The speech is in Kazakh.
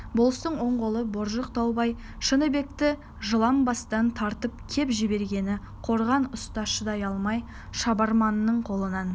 болыстың он қолы боржық таубай шыныбекті жалаңбастан тартып кеп жібергенде қорған ұста шыдай алмай шабарманның қолынан